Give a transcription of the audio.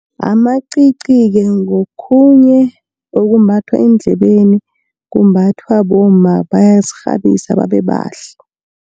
Amacici-ke ngokhunye okumbathwa eendlebeni, kumbathwa bomma bayazikghabisa babe bahle.